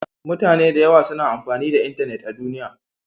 Mutane da yawa suna amfani da intanet a duniya.